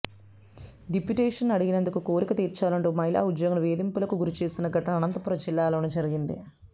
deputation అడిగినందుకు కోరిక తీర్చాలంటూ మహిళా ఉద్యోగిని వేధింపులకు గురిచేసిన ఘటన అనంతపురం జిల్లాలో జరిగింది